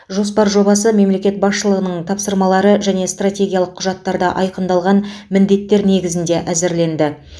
жоспар жобасы мемлекет басшылығының тапсырмалары және стратегиялық құжаттарда айқындалған міндеттер негізінде әзірленді